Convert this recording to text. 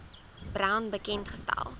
brown bekend gestel